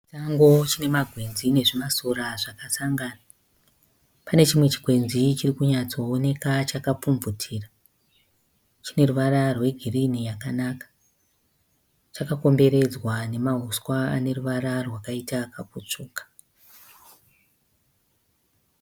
Chisango chine magwenzi nezvimasora zvakasangana. Pane chimwe chikwenzi chiri kunyatsooneka chakapfumvumvutira. Chine ruvara rwegirini yakanaka. Chakakomberenzwa nemahuswa ane ruvara rwakaita kakutsvuka.